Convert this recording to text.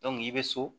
i bɛ so